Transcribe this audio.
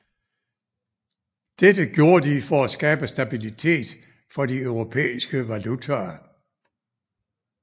Dette gjorde de for at skabe stabilitet for de europæiske valutaer